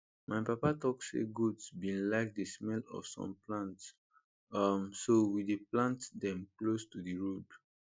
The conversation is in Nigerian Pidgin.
my papa talk say goats bin like the smell of some plants um so we dey plant them close to d road